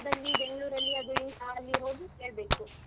ಅದು ಅಲ್ಲಿ ಬೆಂಗಳೂರದ್ ಅಲ್ಲಿ ಹೋಗಿ ಕೇಳ್ಬೇಕು.